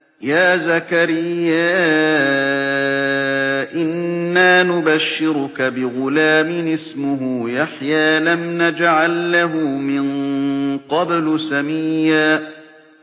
يَا زَكَرِيَّا إِنَّا نُبَشِّرُكَ بِغُلَامٍ اسْمُهُ يَحْيَىٰ لَمْ نَجْعَل لَّهُ مِن قَبْلُ سَمِيًّا